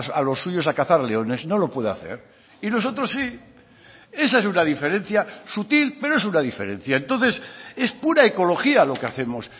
a los suyos a cazar leones no lo puede hacer y nosotros sí esa es una diferencia sutil pero es una diferencia entonces es pura ecología lo que hacemos